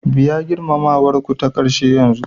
Biya girmamawar ku ta ƙarshe yanzu